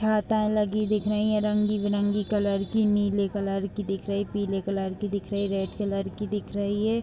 हाता लगी दिख रहीं हैं। रंगी बिरंगी कलर की नील कलर की दिख रही है पीले कलर की दिख रही है रेड कलर की दिख रही है।